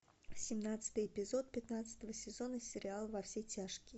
семнадцатый эпизод пятнадцатого сезона сериал во все тяжкие